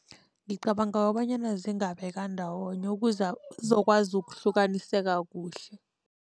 Ngicabanga kobanyana zingabekwa ndawonye ukuze zizokwazi ukuhlukaniseka kuhle.